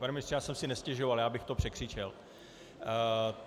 Pane ministře, já jsem si nestěžoval, já bych to překřičel.